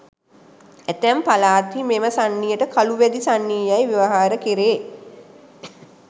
ඇතැම් පළාත්හි මෙම සන්නියට කළු වැදි සන්නිය යැයි ව්‍යවහාර කැරේ.